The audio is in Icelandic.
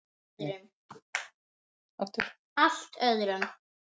Allt öðrum.